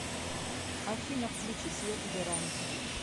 афина включи свет в веранде